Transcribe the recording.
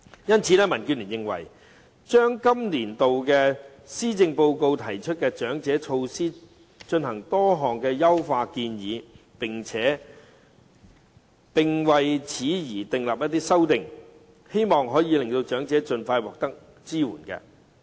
因此，民建聯就今個年度的施政報告中的長者措施提出多項優化建議，希望可以令長者盡快獲得支援。